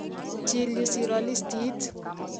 Chil yu siro listit.